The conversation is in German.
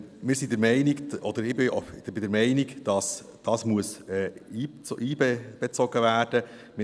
Ich bin der Meinung, dass dies einbezogen werden muss.